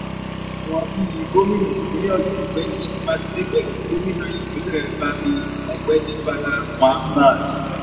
àwọn bíi gómìnà ìpínlẹ̀ ọ̀yọ́ ọ̀gbẹ́ni sèyí mákindè pẹ̀lú gómìnà ìpínlẹ̀ babíi ọ̀gbẹ́ni bala mohammad